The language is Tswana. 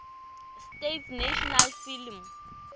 states national film